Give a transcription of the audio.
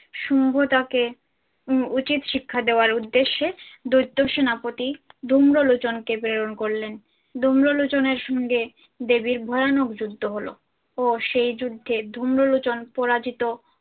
শুম্ভ তাকে উহ উচিত শিক্ষা দেওয়ার উদ্দেশ্যে দৈত্য সেনাপতি ধুম্রলোচন কে প্রেরণ করলেন। ধুম্রলোচনের সঙ্গে দেবীর ভয়ানক যুদ্ধ হল ও সেই যুদ্ধে ধুম্রলোচন পরাজিত